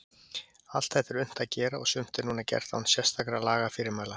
Allt þetta er unnt að gera og sumt er núna gert án sérstakra lagafyrirmæla.